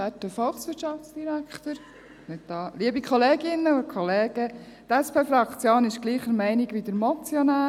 Die SP-Fraktion ist gleicher Meinung wie der Motionär.